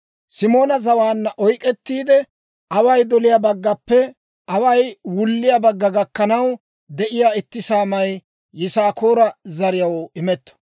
Simoona zawaanna oyk'k'ettiide, away doliyaa baggappe away wulliyaa bagga gakkanaw de'iyaa itti saamay Yisaakoora zariyaw imetto.